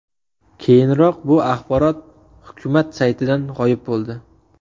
Keyinroq bu axborot hukumat saytidan g‘oyib bo‘ldi.